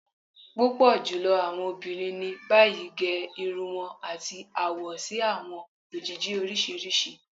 Pupọ julọ awọn obinrin ni bayi ge irun wọn ati awọ si awọn ojiji oriṣiriṣi.